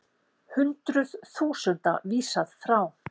Hundruð þúsunda vísað frá